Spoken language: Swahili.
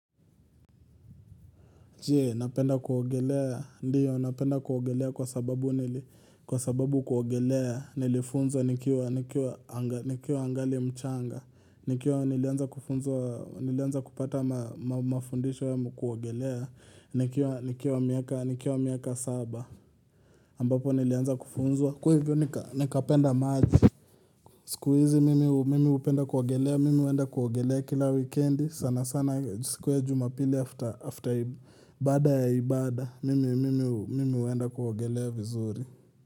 Je, napenda kuogelea, ndiyo, napenda kuogelea kwa sababu nili, kwa sababu kuogelea, nilifunzo, nikiwa angali mchanga, nikiwa nilianza kupata mafundisho yangu kuogelea, nikiwa miaka saba, ambapo nilianza kufunzwa. Kwa hivyo nikapenda maji, siku hizi mimi upenda kuogelea, mimi huenda kuogelea kila wikendi, sana sana, siku ya jumapili after after baada ya ibada, mimi huenda kuogelea vizuri.